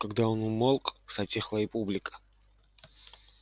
когда он умолк затихла и публика